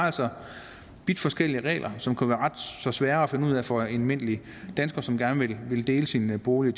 vidt forskellige regler som kunne være ret så svære at finde ud af for en almindelig dansker som gerne ville dele sin bolig